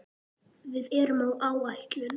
Við erum á áætlun.